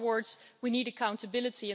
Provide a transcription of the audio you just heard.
In other words, we need accountability.